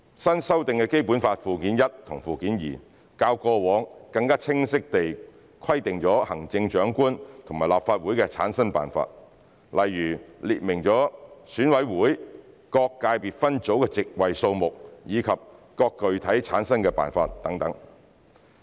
新修訂的《基本法》附件一和附件二，較過往更清晰地規定了行政長官和立法會的產生辦法，例如列明了選委會各界別分組的席位數目及具體產生辦法等。